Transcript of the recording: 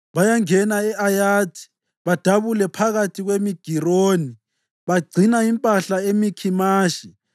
Bayangena e-Ayathi; badabula phakathi kweMigironi; bagcina impahla eMikhimashi.